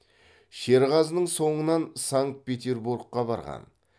шерғазының соңынан санкт петербургқа барған